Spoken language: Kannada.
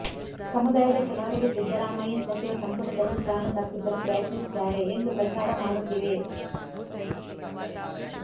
ಸಮುದಾಯದ ಕೆಲವರಿಗೆ ಸಿದ್ದರಾಮಯ್ಯ ಸಚಿವ ಸಂಪುಟದಲ್ಲಿ ಸ್ಥಾನ ತಪ್ಪಿಸಲು ಪ್ರಯತ್ನಿಸಿದ್ದಾರೆ ಎಂದು ಪ್ರಚಾರ ಮಾಡುತ್ತಿವೆ